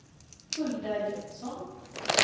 Hulda Jönsson